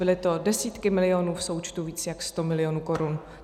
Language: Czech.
Byly to desítky milionů, v součtu víc jak sto milionů korun.